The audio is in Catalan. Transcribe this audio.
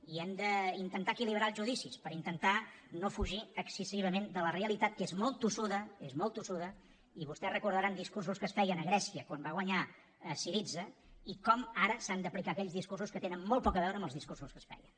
i hem d’intentar equilibrar els judicis per intentar no fugir excessivament de la realitat que és molt tossuda és molt tossuda i vostès recordaran discursos que es feien a grècia quan va guanyar syriza i com ara s’han d’aplicar aquells discursos que tenen molt poc a veure amb els discursos que es feien